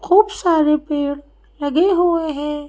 खूब सारे पेड़ लगे हुए हैं।